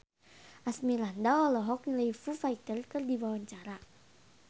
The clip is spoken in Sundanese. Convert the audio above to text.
Asmirandah olohok ningali Foo Fighter keur diwawancara